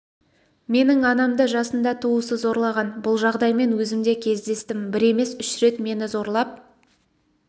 менің анамды жасында туысы зорлаған бұл жағдаймен өзім де кездестім бір емес үш рет мені зорлап